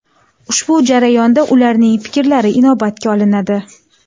Ushbu jarayonda ularning fikrlari inobatga olinadi.